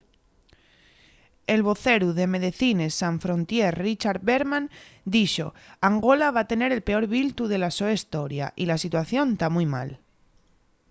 el voceru de medecines sans frontiere richard veerman dixo: angola va tener el peor biltu de la so hestoria y la situación ta mui mal